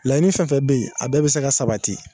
Layiini fɛn fɛn be ye a bɛɛ bɛ se ka sabati.